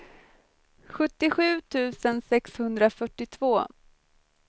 sjuttiosju tusen sexhundrafyrtiotvå